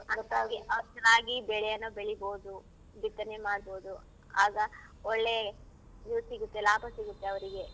ಅರ್ಥ ಆಗಿ ಅವ್ರ್ ಚೆನ್ನಾಗಿ ಬೆಳೆಯನ್ನ ಬೆಳಿಬೋದು. ಬಿತ್ತನೆ ಮಾಡ್ಬೋದು. ಆಗ ಒಳ್ಳೆ ಇವು ಸಿಗತ್ತೆ ಲಾಭ ಸಿಗತ್ತೆ ಅವ್ರಿಗೆ.